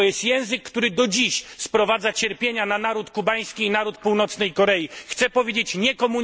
To jest język, który do dziś sprowadza cierpienia na naród kubański i naród Północnej Korei. Chcę powiedzieć nie komunizmowi!